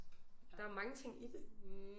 Der er mange ting i det